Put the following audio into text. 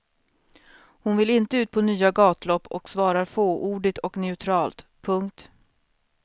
Hon vill inte ut på nya gatlopp och svarar fåordigt och neutralt. punkt